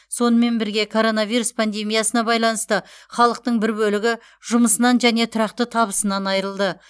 сонымен бірге коронавирус пандемиясына байланысты халықтың бір бөлігі жұмысынан және тұрақты табысынан айырылды